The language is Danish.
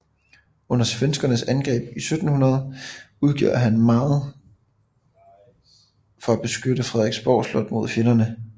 Under svenskernes angreb 1700 gjorde han meget for at beskytte Frederiksborg Slot mod fjenderne